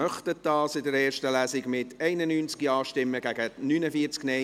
Abstimmung (Art. 2 Abs. 4; Antrag FiKo-Mehrheit